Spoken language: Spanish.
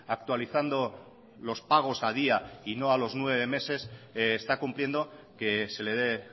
actualizando los pagos a día y no a los nueve meses está cumpliendo que se le de